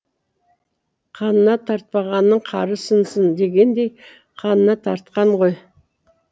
қанына тартпағанның қары сынсын дегендей қанына тартқан ғой